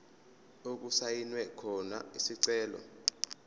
okusayinwe khona isicelo